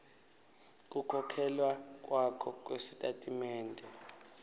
kukhokhela kwakho kusitatimende